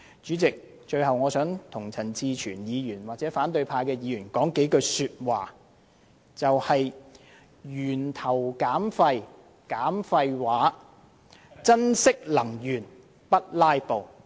主席，最後，我想向陳志全議員或反對派議員說一句話:"源頭減廢，減廢話；珍惜能源，不'拉布'"。